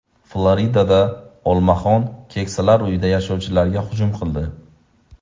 Floridada olmaxon keksalar uyida yashovchilarga hujum qildi.